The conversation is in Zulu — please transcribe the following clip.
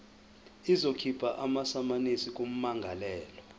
izokhipha amasamanisi kummangalelwa